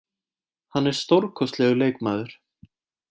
Hann er stórkostlegur leikmaður.